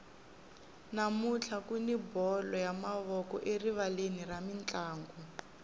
namuntlha kuni bolo ya mavoko erivaleni ra mintlangu